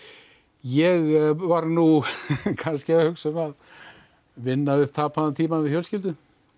ég var nú kannski að hugsa um að vinna upp tapaðan tíma með fjölskyldunni